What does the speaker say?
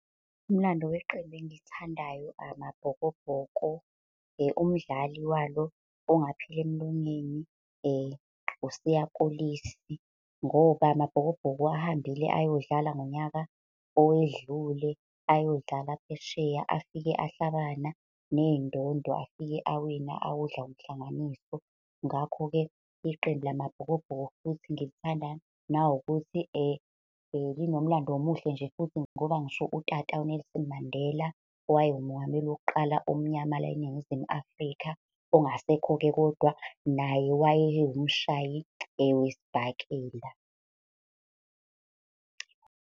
Umlando weqembu engilithandayo amaBhokobhoko, umdlali walo ongapheli emlonyeni uSiya Kolisi. Ngoba amaBhokobhoko ahambile ayodlala ngonyaka owedlule, ayodlala phesheya afike ahlabana ney'ndondo, afike awina, awudla umhlanganiso. Ngakho-ke iqembu lamaBhokobhoko futhi ngilithanda uma kuwukuthi , linomlando omuhle nje futhi ngoba ngisho utata uNelson Mandela, owayengumongameli wokuqala omnyamana la eNingizimu Afrika, ongasekho-ke kodwa, naye waye umshayi wesibhakela.